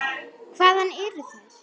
Hvaðan eru þær.